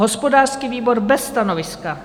Hospodářský výbor: bez stanoviska.